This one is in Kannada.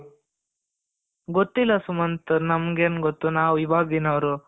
ಗೊತ್ತಿಲ್ಲ ಸುಮಂತ್ ನಮಗೇನು ಗೊತ್ತು ನಾವು ಇವಾಗಿನವರು,